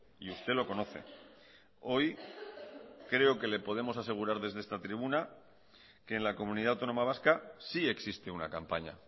y usted lo conoce hoy creo que le podemos asegurar desde esta tribuna que en la comunidad autónoma vasca sí existe una campaña